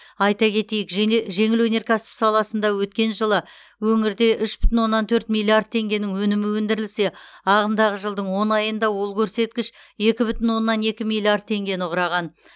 айта кетейік жеңе жеңіл өнеркәсіп саласында өткен жылы өңірде үш бүтін оннан төрт миллиард теңгенің өнімі өндірілсе ағымдағы жылдың он айында ол көрсеткіш екі бүтін оннан екі миллиард теңгені құраған